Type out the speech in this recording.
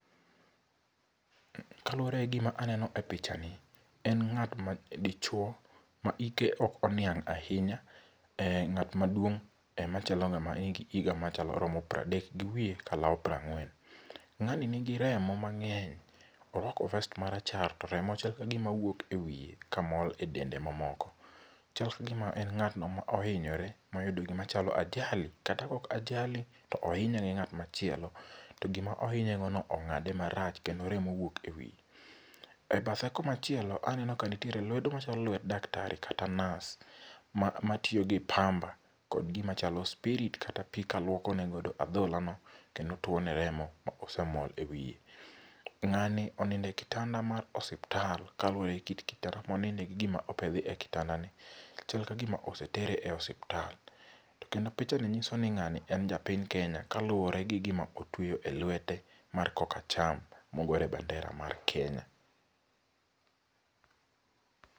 kaluwore gi gima aneno e pichani ,en ng;at ma dichuo ma ike ok oniang' ahinya ng'at maduong' ema chalo higa maromo piero adek gi wiye kalawo para ng'wen ,ng'ani ni gi remo mang'eny ,orwako vest marachar to remo chal ka gima wuok e wiye ka mol e dende mamoko ,Chal ka gima en ng'atno ma ohinyore moyudo gima chalo ajali[]cs kata ok jali to ohinye gi ng'at chielo to gima ohinye gono ong'ade marach kendo remo wuok e wiye ,e bathe kuma chielo aneno ka nitie lwedo moro ma chalo lwet dakatari kata nurse matiyo gi pamba kod gimachalo spirit kata pi kaluokone godo adhola no kendo tuo ne kodo remo mosemol e wiye, ng'ani onindo e kitanda mar hospital kaluore gi kit kitanda monide gi gima opedhie kitanda ni chal ka gima osetere e hospital to kendo pichani ng'iso wa ni ng'ani en japiny kenya kaluwore gi gima otweyo e lwete mar kokacham mogor e bandera mar kenya